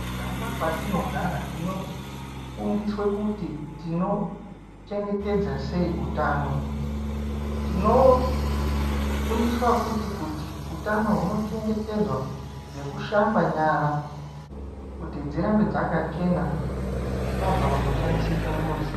Mumiganga kwatinogara tinofundiswe kuti tinochengetedza sei utano. Tinofundaswa futi kuti utano hunochengetedzwa nekushamba nyara, kuti dzirambe dzakachena tabve kunoshandise chimbuzi.